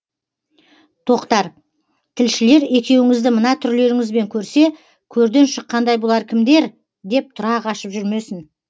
тоқтар тілшілер екеуіңізді мына түрлеріңізбен көрсе көрден шыққандай бұлар кімдер деп тұра қашып жүрмесін